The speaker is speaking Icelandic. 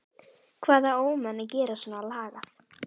Hvaða ómenni gera svona lagað?